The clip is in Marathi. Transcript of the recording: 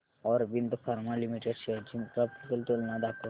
ऑरबिंदो फार्मा लिमिटेड शेअर्स ची ग्राफिकल तुलना दाखव